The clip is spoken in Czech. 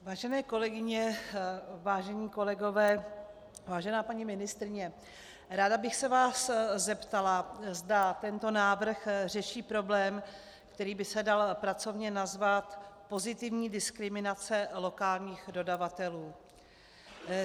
Vážené kolegyně, vážení kolegové, vážená paní ministryně, ráda bych se vás zeptala, zda tento návrh řeší problém, který by se dal pracovně nazvat pozitivní diskriminace lokálních dodavatelů.